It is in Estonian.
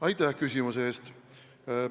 Aitäh küsimuse eest!